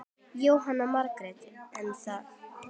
Jóhanna Margrét: En þið?